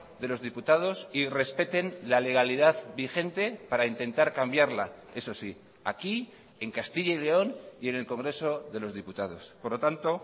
de los diputados y respeten la legalidad vigente para intentar cambiarla eso sí aquí en castilla y león y en el congreso de los diputados por lo tanto